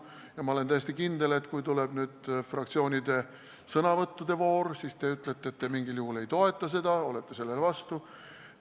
Ja ma olen täiesti kindel, et kui tuleb fraktsioonide sõnavõttude voor, siis te ütlete, et te mitte mingil juhul ei toeta seda eelnõu, olete selle vastu.